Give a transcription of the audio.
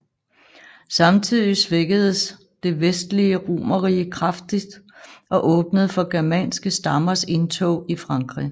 Samtidig svækkedes det vestlige romerrige kraftigt og åbnede for germanske stammers indtog i Frankrig